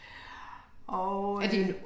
Og øh